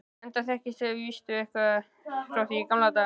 enda þekkist þið víst eitthvað frá því í gamla daga.